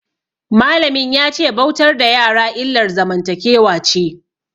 Malamin ya ce bautar da yara illar zamantakewa ce.